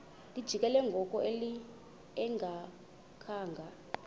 lijikile ngoku engakhanga